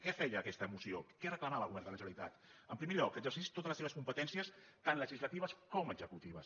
què feia aquesta moció què reclamava al govern de la generalitat en primer lloc que exercís totes les seves competències tant legislatives com executives